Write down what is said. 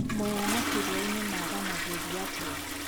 Mwea na Kĩrĩainĩ maranagĩria atĩa?